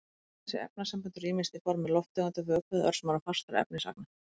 Þessi efnasambönd eru ýmist á formi lofttegunda, vökva eða örsmárra fastra efnisagna.